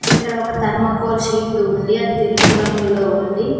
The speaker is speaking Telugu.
ఇక్కడ ఒక తర్మ కోల్ షీటు ఉంది అది తెలుపు రంగులో ఉంది.